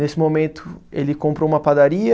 Nesse momento ele comprou uma padaria,